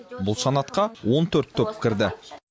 бұл санатқа он төрт топ кірді